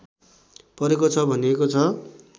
परेको छ भनिएको छ